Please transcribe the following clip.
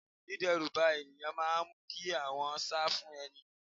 Dideruba ènìyàn máa mu kí wọn sá fún ẹni.